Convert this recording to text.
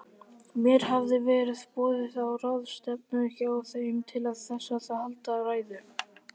Mér hafði verið boðið á ráðstefnu hjá þeim, til þess að halda ræðu.